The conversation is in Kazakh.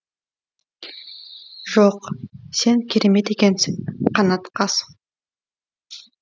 жоқ сен керемет екенсің қанат қас